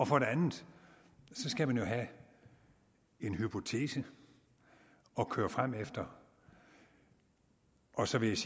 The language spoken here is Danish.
for det andet skal man jo have en hypotese at køre frem efter og så vil